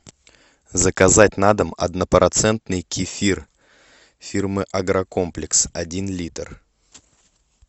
заказать на дом однопроцентный кефир фирмы агрокомплекс один литр